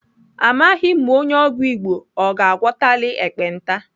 Amaghị m ma onye ọgwụ Igbo ọ ga-agwọtali ekpenta.